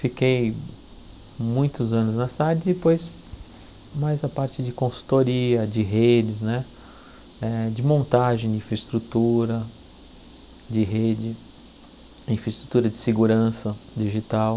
Fiquei muitos anos nessa área e depois mais a parte de consultoria, de redes né eh, de montagem de infraestrutura de rede, infraestrutura de segurança digital.